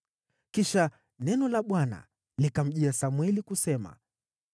Kisha neno la Bwana likamjia Samweli kusema: